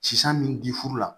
Sisan min di furu la